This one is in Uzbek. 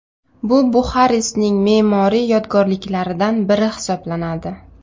Bu Buxarestning me’moriy yodgorliklaridan biri hisoblanadi.